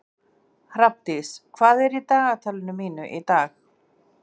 Hrafndís, hvað er í dagatalinu mínu í dag?